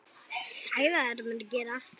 Sagði að þetta mundi gerast.